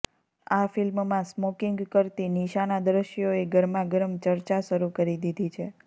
આ ફિલ્મમાં સ્મોકિંગ કરતી નિશાનાં દ્રશ્યોએ ગરમાગરમ ચર્ચા શરૂ કરી દીધી છે